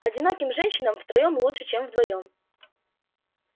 одиноким женщинам втроём лучше чем вдвоём